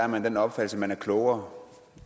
man af den opfattelse at man er klogere